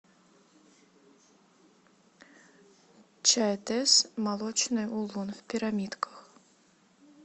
чай тесс молочный улун в пирамидках